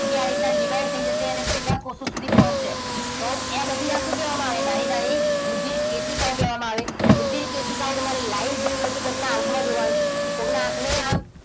આ રીતના divide થઈ જતી હોય અને બધા જ કોષો સુધી પહોંચે તો ત્યાં આ બધી શું કહેવામાં આવે નાની નાની રુધિરકેશિકાઓ કહેવામાં આવે. રુધિરકેશિકાઓ તમારી live જોવી હોય તો કોઈકની આંખમાં જોવાની. કોઈકની આંખની આમ,